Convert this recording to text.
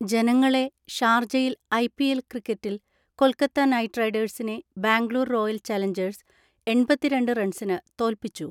ജനങ്ങളെ, ഷാർജയിൽഐപിഎൽ ക്രിക്കറ്റിൽ കൊൽക്കത്ത നൈറ്റ് റൈഡേഴ്സിനെ, ബാംഗ്ലൂർ റോയൽ ചലഞ്ചേഴ്സ് എണ്‍പത്തിരണ്ട് റൺസിന് തോൽപ്പിച്ചു.